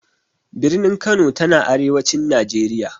Birnin Kano ta na arewacin Najeriya.